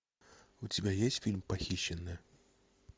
у тебя есть фильм похищенная